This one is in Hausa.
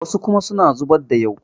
wasu kuma suna zubar da yau